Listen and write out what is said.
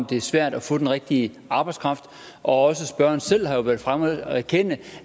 det er svært at få den rigtige arbejdskraft og spørgeren selv har været fremme og erkende